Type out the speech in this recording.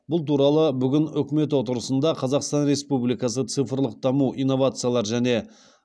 бұл туралы бүгін үкімет отырысында қазақстан республикасы цифрлық даму инновациялар және